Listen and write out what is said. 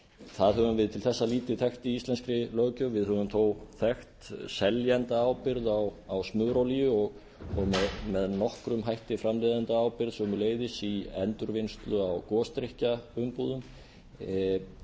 það höfum við til þessa lítið þekkt í íslenskri löggjöf við höfum þó þekkt seljendaábyrgð á smurolíu og með nokkrum hætti framleiðendaábyrgð sömuleiðis í endurvinnslu á gosdrykkjaumbúðum